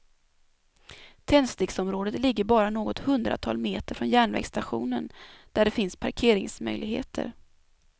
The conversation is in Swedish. Tändsticksområdet ligger bara något hundratal meter från järnvägsstationen, där det finns parkeringsmöjligheter.